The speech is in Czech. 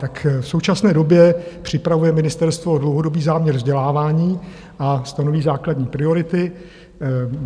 Tak v současné době připravuje ministerstvo dlouhodobý záměr vzdělávání a stanoví základní priority.